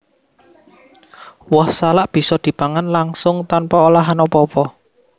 Woh salak bisa dipangan langsung tanpa olahan apa apa